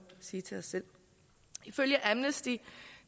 sige til os selv ifølge amnesty